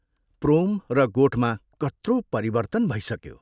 प्रोम र गोठमा कत्रो परिवर्त्तन भइसक्यो।